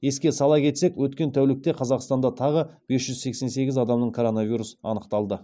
еске сала кетсек өткен тәулікте қазақстанда тағы бес жүз сексен сегіз адамнан коронавирус анықталды